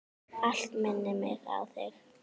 Allt minnir mig á þig.